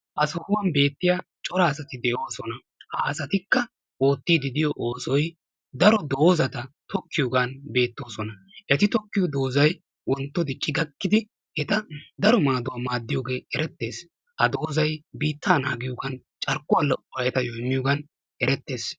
Ha sohuwan beetiya cora asati de"oosona. Ha asatikka oottiddi diyo oosoy daro doozata tokkiyogaan beettoosona. Eti tokkiyo doozay wontto dicci gakkidi eta daro maaduwa maaddiyogee erettees. Ha doozay biittaa naagiyogaan carkkuwa lo"uwa etayo immiyogan erettees.